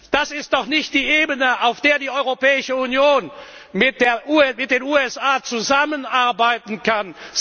Das ist doch nicht die Ebene, auf der die Europäische Union mit den USA zusammenarbeiten kann!